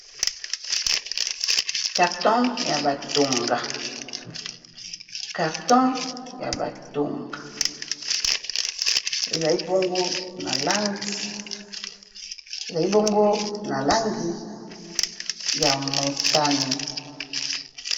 Carton ya batonga , carton ya batonga ezali bongo na langi ya motane.